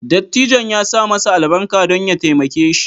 Dattijon ya sa masa albarka don ya taimake shi